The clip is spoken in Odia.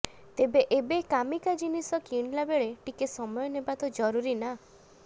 ତେବେ ଏବେ କାମିକା ଜିନିଷ କିଣିଲାବେଳେ ଟିକେ ସମୟ ନେବା ତ ଜରୁରୀ ନା